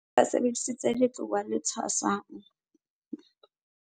Ba sebedisitse letloa le tshwasang ho tjhea dinonyana.